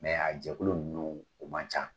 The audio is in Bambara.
a jɛkulu ninnu o man ca